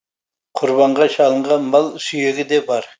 құрбанға шалынған мал сүйегі де бар